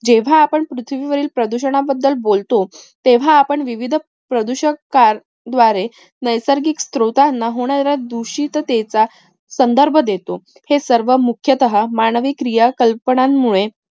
जेव्हा, आपण पृथ्वीवरील प्रदूषणाबद्दल बोलतो. तेव्हा, आपण विविध प्रदुशक्कार द्वारे नैसर्गिक स्रोतांना होणाऱ्या दूषिततेचा संदर्भ देतो. हे सर्व मुख्यातः मानवी क्रिया कल्पनांमुळे